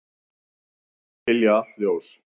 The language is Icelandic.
Hylja allt ljós.